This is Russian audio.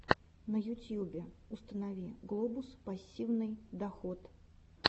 на ютьюбе установи глобус пассивный доход